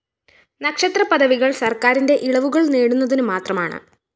നക്ഷത്രപദവികള്‍ സര്‍ക്കാരിന്റെ ഇളവുകള്‍ നേടുന്നതിനു മാത്രമാണ്